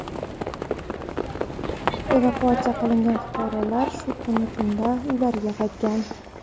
Evakuatsiya qilingan fuqarolar shu kuni tunda uylariga qaytgan.